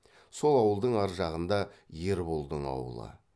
сол ауылдың ар жағында ерболдың аулы